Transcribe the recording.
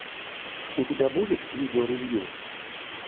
у тебя будет видео ревью